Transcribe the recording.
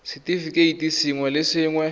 r setefikeiti sengwe le sengwe